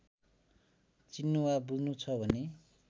चिन्नु वा बुझ्नु छ भने